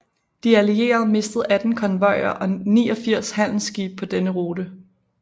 De Allierede mistede 18 konvojer og 89 handelsskibe på denne rute